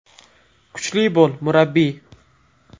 Kuchli bo‘l, murabbiy”.